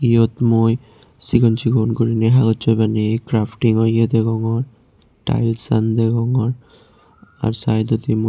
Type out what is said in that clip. iyot mui sigon sigon goriney hagossoi baniye craftingo eyo degongor taelsaan degongor are saidodi mui.